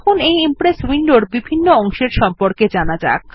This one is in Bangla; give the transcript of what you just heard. এখন এই ইমপ্রেস উইন্ডোর বিভিন্ন অংশের সম্পর্কে জানা যাক